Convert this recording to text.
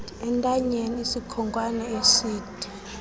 entanyeni isikhonkwane eside